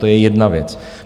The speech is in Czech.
To je jedna věc.